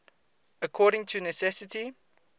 according to necessity